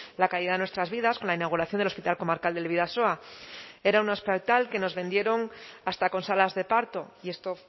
la caída de nuestras vidas con la inauguración del hospital comarcal del bidasoa era un hospital que nos vendieron hasta con salas de parto y esto